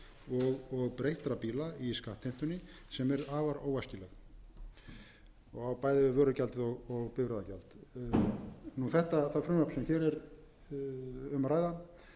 og breyttra bíla í skattheimtunni sem er afar óæskileg og á bæði við vörugjaldið og bifreiðagjald það frumvarp sem hér er um að ræða kynni að